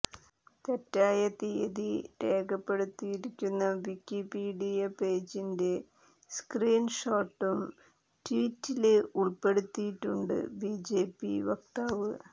തെറ്റായ തീയതി രേഖപ്പെടുത്തിയിരിക്കുന്ന വിക്കിപീഡിയ പേജിന്റെ സ്ക്രീന് ഷോട്ടും ട്വീറ്റില് ഉള്പ്പെടുത്തിയിട്ടുണ്ട് ബിജെപി വക്താവ്